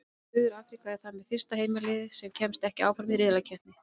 Suður-Afríka er þar með fyrsta heimaliðið sem kemst ekki áfram úr riðlakeppni.